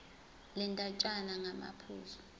le ndatshana ngamaphuzu